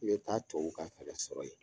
I bɛ taa tubabuw ka fɛɛrɛ sɔrɔ yen.